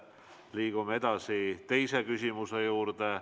Liigume edasi teise küsimuse juurde.